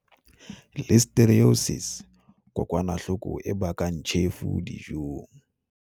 Listeriosis Kokwanahloko e bakang tjhefo dijong.